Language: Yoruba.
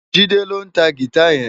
Jide ló ntá gitá yèn